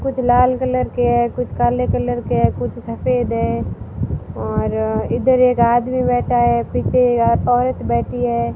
कुछ लाल कलर के है कुछ काले कलर के है कुछ सफेद है और इधर एक आदमी बैठा है पीछे यहां पर औरत बैठी है।